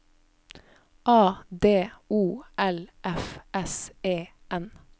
A D O L F S E N